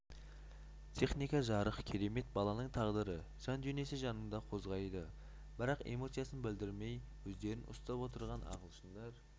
техника жарық керемет баланың тағдыры жан-дүниесі жаныңды қозғайды бірақ эмоциясын білдірмей өздерін ұстап отырған ағылшындар